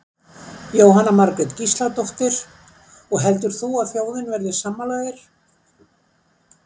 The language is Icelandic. Jóhanna Margrét Gísladóttir: Og heldur þú að þjóðin verði sammála þér?